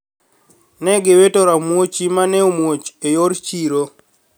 Ne giwito ramuochi ma ne omuoch e yor chiro